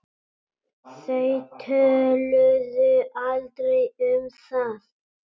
Þau töluðu aldrei um það.